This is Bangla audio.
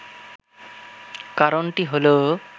কারণটি হল